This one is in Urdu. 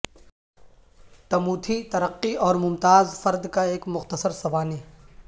ٹموتھی ترقی اور ممتاز فرد کا ایک مختصر سوانح